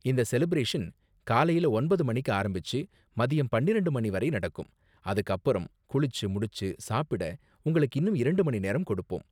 இந்த செலிபிரேஷன் காலையில ஒன்பது மணிக்கு ஆரம்பிச்சு மதியம் பன்னிரெண்டு மணி வரை நடக்கும், அதுக்கு அப்பறம் குளிச்சு முடிச்சு சாப்பிட உங்களுக்கு இன்னும் இரண்டு மணி நேரம் கொடுப்போம்.